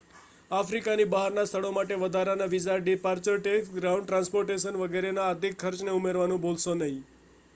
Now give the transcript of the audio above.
આફ્રિકાની બહારના સ્થળો માટે વધારાના visa departure tax ground transportation વગેરેના અધિક ખર્ચને ઉમેરવાનું ભુલશો નહીં